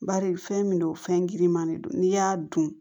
Bari fɛn min don fɛn girin man de don n'i y'a dun